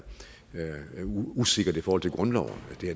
usikkert i forhold til grundloven